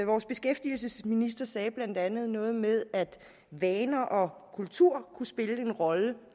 vores beskæftigelsesminister sagde blandt andet noget med at vaner og kultur kunne spille en rolle